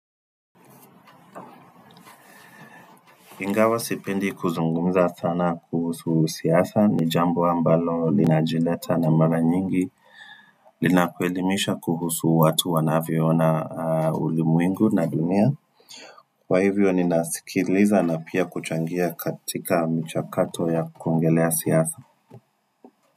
Ingawa sipendi kuzungumza sana kuhusu siasa ni jambo ambalo linajileta na mara nyingi linakuelimisha kuhusu watu wanavyo ona ulimwengu na dunia Kwa hivyo ninasikiliza na pia kuchangia katika mchakato ya kuongelea siasa.